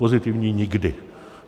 Pozitivní nikdy.